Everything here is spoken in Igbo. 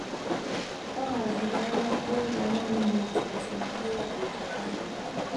Ọ haziri alaka ụlọ ọrụ n’etiti Rio de Janeiro. ”